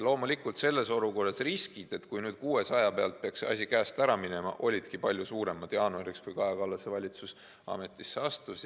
Loomulikult olidki selles olukorras riskid, et 600 pealt võib see asi käest ära minna, palju suuremad jaanuariks, kui Kaja Kallase valitsus ametisse astus.